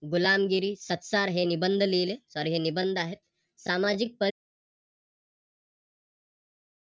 गुलामगिरी सत्तार हे निबंध लिहिले तर निबंध आहेत. सामाजिक